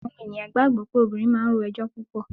Àwọn ènìyàn gbàgbọ́ pé obìnrin máa ń ro ẹjọ́ púpọ̀.